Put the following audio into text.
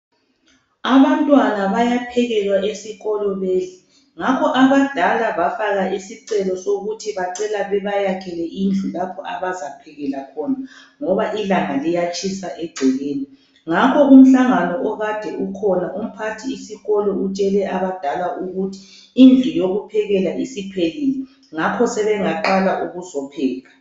Abantwana bayaphekelwa esikolo bedle. Ngakho abadala bafaka isicelo sokuthi bacela bebayakhele indlu lapha abazaphekela khona ngoba ilanga liyatshisa egcekeni. Ngakho umhlangano akade ukhona umphathisikolo utshele abadala ukuthi indlu yokuphekela isiphelile ngakho sebeyaqala ukuzopheka.